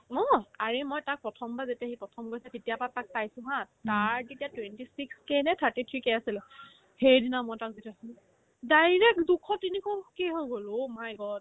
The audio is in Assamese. ময়ো অ আৰে মই তাক প্ৰথমবাৰ যেতিয়া সি প্ৰথম হৈছে তেতিয়াৰ পৰা তাক চাইছো haa তাৰ তেতিয়া twenty six K নে thirty three K আছিলে সেইদিনা মই তাক যেতিয়া দেখিছিলো direct দুশ তিনিশ কি হৈ গ'ল oh my god